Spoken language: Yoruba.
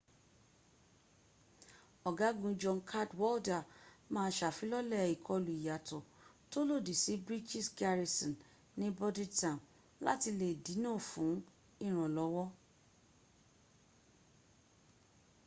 ọ̀gágun john cadwalder ma ṣàfilọ́lẹ̀ ìkọlù ìyàtọ̀ tó lòdì sí british garrison ní bordentown láti lè dínà fún ìrànlọ́wọ́